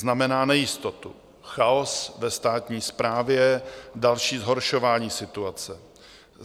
Znamená nejistotu, chaos ve státní správě, další zhoršování situace.